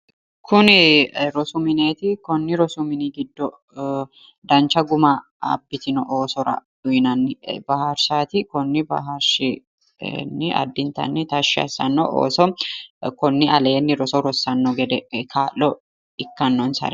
Kuni rosu mineeti konni rosu mini giddo dancha guma abbitino oosora uyiinanni bararshaati konni baraarshinni addintanni tashshi assanno ooso konni aleenni roso rossanno gede kaa'lo ikkannonsare.